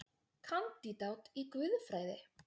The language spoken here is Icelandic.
Kandídat í guðfræði